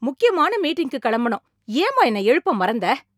முக்கியமான மீட்டிங்குக்கு கெளம்பணும், ஏம்மா என்ன எழுப்ப மறந்த?